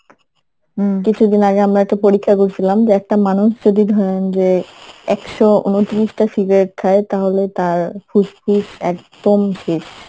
কিছুদিন আগে আমরা একটা পরীক্ষা করছিলাম যে একটা মানুষ যদি ধরেন যে একশো ঊনত্রিশটা cigarette খায় তাহলে তার ফুসফুস একদম শেষ